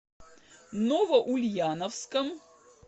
новоульяновском